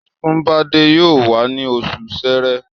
Sunbade yóò wá ní oṣù sẹrẹ